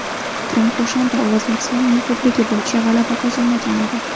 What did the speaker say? Tramp o‘shanda ovozlar sonining ko‘pligi bo‘yicha g‘alaba qozonmagan edi.